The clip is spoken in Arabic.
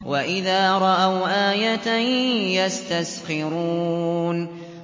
وَإِذَا رَأَوْا آيَةً يَسْتَسْخِرُونَ